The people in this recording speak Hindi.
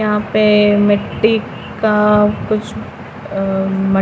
यहाँ पे मिट्टी का कुछ अअअ म--